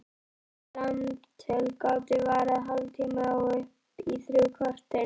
Þessi samtöl gátu varað hálftíma og upp í þrjú korter.